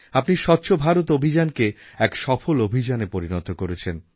আপনি স্বচ্ছ ভারত অভিযানকে এক সফল অভিযানে পরিণত করেছেন